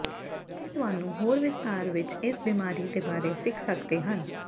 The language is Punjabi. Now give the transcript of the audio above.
ਇੱਥੇ ਤੁਹਾਨੂੰ ਹੋਰ ਵਿਸਥਾਰ ਵਿੱਚ ਇਸ ਬਿਮਾਰੀ ਦੇ ਬਾਰੇ ਸਿੱਖ ਸਕਦੇ ਹਨ